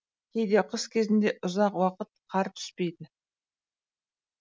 кейде қыс кезінде ұзақ уақыт қар түспейді